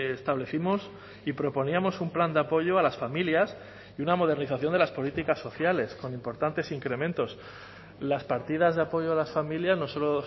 establecimos y proponíamos un plan de apoyo a las familias y una modernización de las políticas sociales con importantes incrementos las partidas de apoyo a las familias no solo